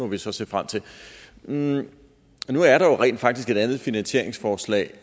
må vi så se frem til nu er der jo rent faktisk et andet finansieringsforslag